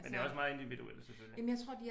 Men det er også meget individuelt selvfølgelig